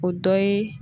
O dɔ ye